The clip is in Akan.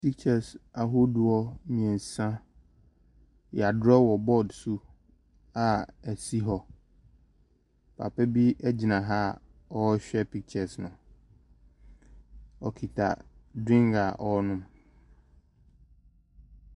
Pictures ahodoɔ mmeɛnsa. Wɔadrɔɔ wɔ board so a ɛsi hɔ. Papa bi gyina ha a ɔrehwɛ pictures no. Ɔkita drink a ɔrenom.